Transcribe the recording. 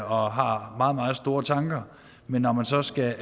og har meget meget store tanker men når man så skal